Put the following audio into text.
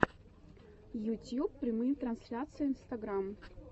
ютьюб прямые трансляции инстаграм